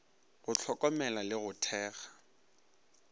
go hlokomela le go thekga